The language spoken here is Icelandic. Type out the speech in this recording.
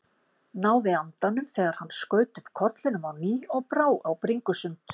Náði andanum þegar hann skaut upp kollinum á ný og brá á bringusund.